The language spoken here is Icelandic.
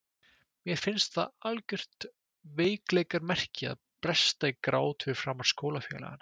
Mér fannst það algjört veikleikamerki að bresta í grát fyrir framan skólafélagana.